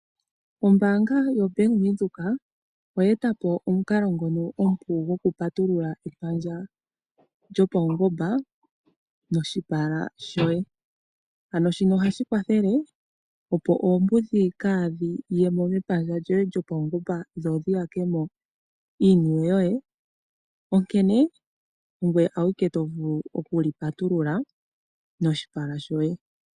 Ombaanga yaVenduka, oya eta po omukalo ngoka omupu wokupatulula epandja lyopaungomba, noshipala shoye. Ano shika ohashi kwathele opo oombudhi kaadhi yemo mepandja lyoye lyopaungomba dho dhi yakemo iiniwe yoye, onkene ongoye awike tovulu okuli patulula noshipala shoye.